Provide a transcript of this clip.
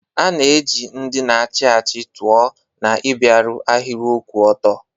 A na-eji ndị na-achị achị tụọ na ịbịaru ahịrị kwụ ọtọ.